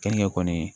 Keninge kɔni